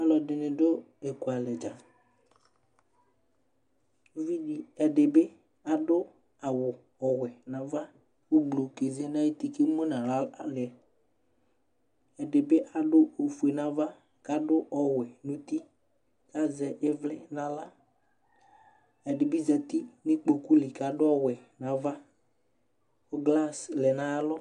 Ɛɖɩŋɩ ɖʊ ékʊalɛɖza, ɛɖɩɓɩ aɖʊ awʊwɛ ŋaʋa ƙʊ ʊɓlʊ ƙézé ŋaƴʊtɩ ƙémʊ ŋahla lɛ Ƙɛɖɩbɩ aɖʊ ofoé ŋava Ƙaɖʊ ɔwe ŋʊtɩ Ƙazɛ ɩʋlɩ ŋaɣla Ɛɖiɓɩ zatɩ ŋʊ ʊƙpokʊlɩ ƙaɖʊ ɔwɛ ŋava ƙʊ glasɩ lɛ ŋaƴalɔ